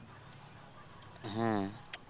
হ্যাঁ